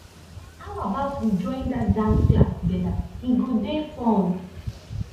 how about we join that dance class together e go dey fun